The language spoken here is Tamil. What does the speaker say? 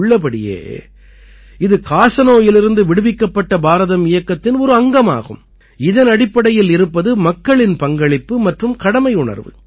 உள்ளபடியே இது காசநோயிலிருந்து விடுவிக்கப்பட்ட பாரதம் இயக்கத்தின் ஒரு அங்கமாகும் இதனடிப்படையில் இருப்பது மக்களின் பங்களிப்பு மற்றும் கடமையுணர்வு